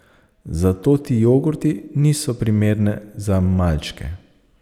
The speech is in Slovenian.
Zato ti jogurti niso primerne za malčke.